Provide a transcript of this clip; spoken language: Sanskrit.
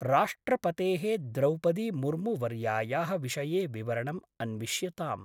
राष्ट्रपतेः द्रौपदी मुर्मु वर्यायाः विषये विवरणम् अन्विष्यताम्।